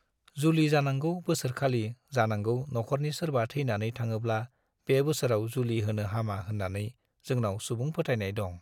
जुलि जानांगौ बोसोर खालि जानांगौ नख'रनि सोरबा थैनानै थाङोब्ला बे बोसोराव जुलि होनो हामा होन्नानै जोंनाव सुबुं फोथायनाय दं।